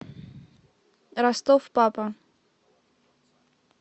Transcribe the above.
ростов папа